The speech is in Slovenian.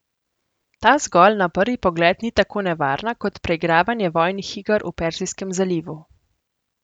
Ta zgolj na prvi pogled ni tako nevarna kot preigravanje vojnih iger v Perzijskem zalivu.